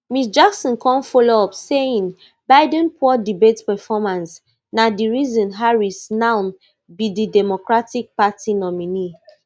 ms jackson come follow up saying biden poor debate performance na di reason harris now be di democratic party nominee